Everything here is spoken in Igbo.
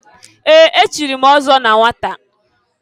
Ee! Echiri m ọzọ na nwata.